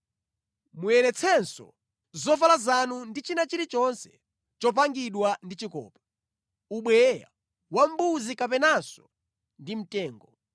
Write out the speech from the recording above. Muyeretsenso zovala zanu ndi china chilichonse chopangidwa ndi chikopa, ubweya wa mbuzi kapenanso ndi mtengo.”